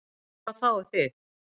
En hvað fáið þið?